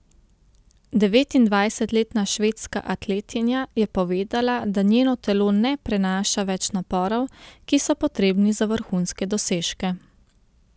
Devetindvajsetletna švedska atletinja je povedala, da njeno telo ne prenaša več naporov, ki so potrebni za vrhunske dosežke.